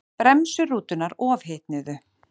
Bremsur rútunnar ofhitnuðu